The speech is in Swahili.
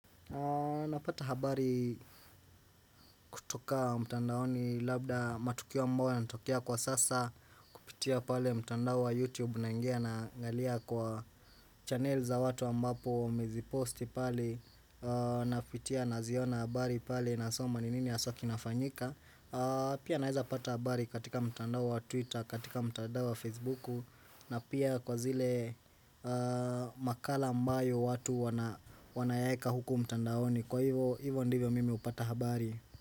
Napata habari kutoka mtandaoni labda matukio ambayo yanatokea kwa sasa kupitia pale mtandao wa youtube naingi na angalia kwa channel za watu ambapo wameziposti pale Napitia naziona habari pale nasoma ni nini haswa kinafanyika Pia naeza pata habari katika mtandao wa twitter, katika mtandao wa facebooku na pia kwa zile makala ambayo watu wanayaeka huku mtandaoni Kwa hivyo hivyo ndivyo mimi hupata habari.